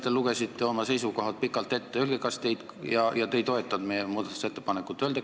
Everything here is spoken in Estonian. Te lugesite oma seisukohad pikalt ette ja te ei toetanud meie muudatusettepanekut.